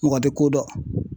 Mɔgɔ tɛ ko dɔn